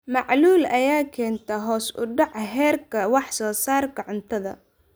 Macaluul ayaa keenta hoos u dhaca heerka wax soo saarka cuntada.